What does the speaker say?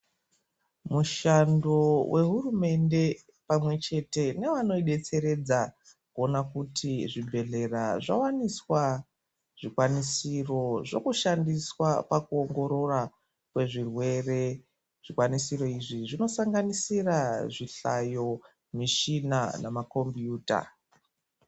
Mushando wehuremende pamwechete nevanoidetseredza kuona kuti zvibhehleya zvawaniswa zvikwanisiro zvekushandiswa pakuongorora kwezvirwere ,zvikwanisiro izvi zvinosanganisira zvihlayo michina nemakombuta.